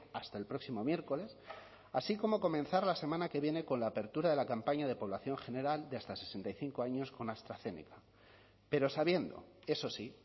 hasta el próximo miércoles así como comenzar la semana que viene con la apertura de la campaña de población general de hasta sesenta y cinco años con astrazeneca pero sabiendo eso sí